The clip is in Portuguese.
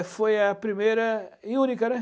foi a primeira e única, né?